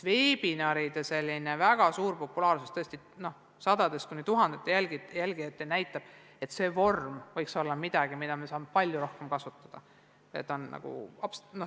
Veebiseminaride väga suur populaarsus – jälgijaid on tõesti sadu kuni tuhandeid – näitab, et see vorm võib olla midagi sellist, mida me saame palju rohkem ära kasutada.